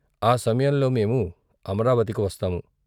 ఆ సమయంలో మేము అమరావతికి వస్తాము.